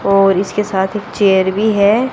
और इसके साथ एक चेयर भी हैं।